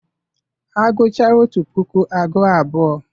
Agụchaa otu tupuu agụọ abụọ.